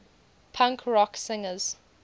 punk rock singers